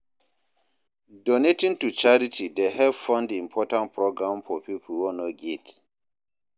Donating to charity dey help fund important programs for pipo wey no get.